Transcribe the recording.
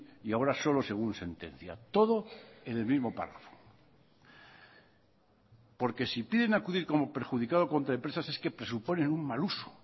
y ahora solo según sentencia todo en el mismo párrafo porque si piden acudir como perjudicado contra empresas es que presuponen un mal uso